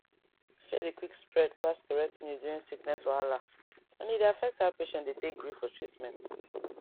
fear dey quick spread pass correct news during sickness wahala and e dey affect how patients dey take gree for treatment